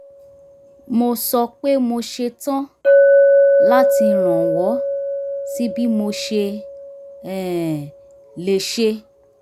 mo sọ pé mo setán láti rànwọ́ sí bí mo ṣe um lè ṣe